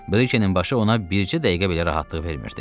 Brikenin başı ona bircə dəqiqə belə rahatlıq vermirdi.